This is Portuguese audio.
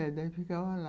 É, daí ficavam lá.